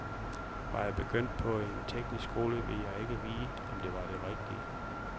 Var jeg begyndt på en teknisk skole, ville jeg ikke vide, om det var det rigtige.